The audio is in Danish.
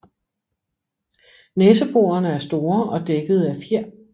Næseborene er store og dækkede af fjer